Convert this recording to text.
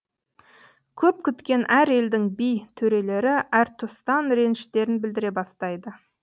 көп күткен әр елдің би төрелері әртұстан реніштерін білдіре бастайды